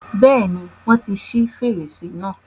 Bẹ́ẹ̀ni, wọ́n ti ṣi fèrèsé náà.